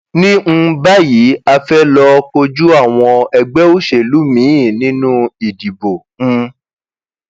ní um báyìí a fẹẹ lọọ kojú àwọn ẹgbẹ òṣèlú míín nínú ìdìbò um